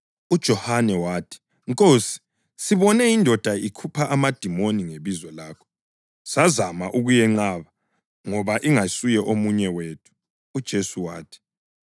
UJohane wathi, “Nkosi, sibone indoda ikhupha amadimoni ngebizo lakho sazama ukuyenqaba ngoba ingayisuye omunye wethu.”